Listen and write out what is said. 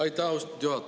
Aitäh, austatud juhataja!